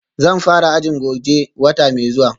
Zan fara ajin goje wata mai zuwa